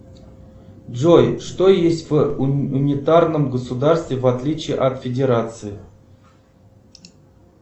джой что есть в унитарном государстве в отличие от федерации